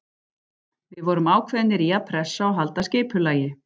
Við vorum ákveðnir í að pressa og halda skipulagi.